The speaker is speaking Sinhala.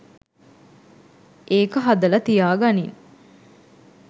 ඒක හදල තියා ගනින්